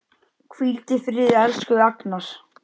Hvíldu í friði, elsku Agnar.